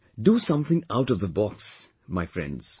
Do something out of the box, my Friends